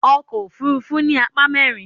Ọkọ̀ òfuurufú ní apá mẹ́rin.